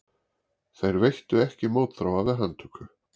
Þeir veittu ekki mótþróa við handtöku